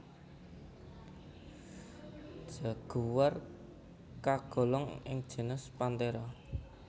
Jaguar kagolong ing genus Panthera